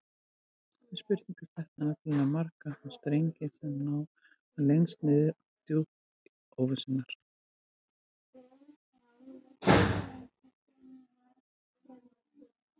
Þær spurningar snerta nefnilega marga þá strengi sem ná hvað lengst niður í djúp óvissunnar.